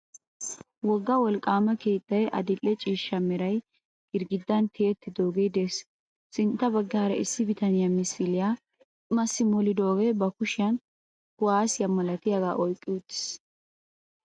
Wogga wolqqaama keettay adil"e ciishsha meray girggidan tiyettidaagee de'ees. Sintta baggaara issi bitaniya misiliya massi molodoogee ba kushiyan kuwaasiya malatiyagaa oyqqi uttiis.